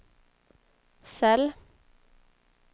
cell